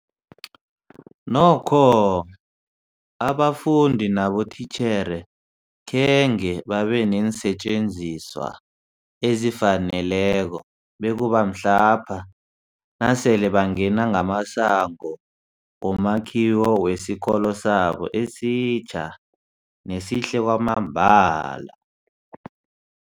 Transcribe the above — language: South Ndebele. Nokho abafundi nabotitjhere khange babe neensetjenziswa ezifaneleko bekube mhlapha nasele bangena ngamasango womakhiwo wesikolo sabo esitjha nesihle kwamambala.